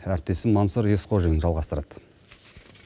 әріптесім мансұр есқожин жалғастырады